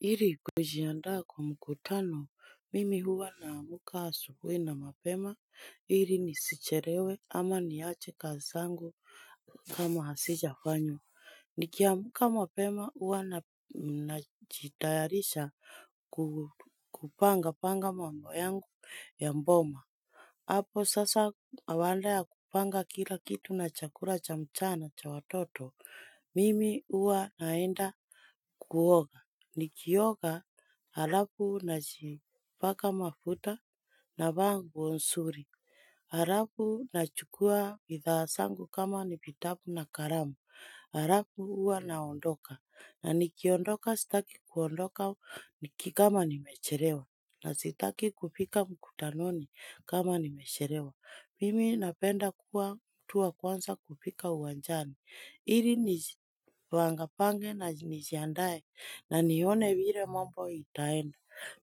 Ili kujiandaa kwa mkutano, mimi huwa naamka asuhuhi na mapema, ili nisichelewe ama niache kazi yangu kama hazija fanywa, nikiamka mapema huwa najitayarisha kupanga panga mambo yangu ya boma. Hapo sasa awala ya kupanga kila kitu na chakula cha mchana cha watoto, mimi huwa naenda kuoga. Nikioga halafu na jipaka mafuta na vaa nguo nzuri. Halafu na chukua bidhaa zangu kama ni vitabu na kalamu. Halafu huwa naondoka. Na nikiondoka sitaki kuondoka nikikama ni mechelewa. Na sitaki kufika mkutanoni kama nimechelewa. Mimi napenda kuwa mtuwa kwanza kufika uwanjani. Hili nijipangapange na nijiandae na nione vile mambo itaenda.